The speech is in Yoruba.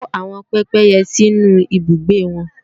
Kó àwọn pépéyẹ sínú ibùgbé wọn!